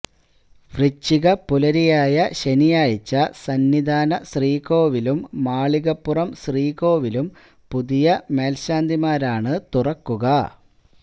വൃശ്ചികപ്പുലരിയായ ശനിയാഴ്ച സന്നിധാന ശ്രീകോവിലും മാളികപ്പുറം ശ്രീകോവിലും പുതിയ മേൽശാന്തിമാരാണ് തുറക്കുക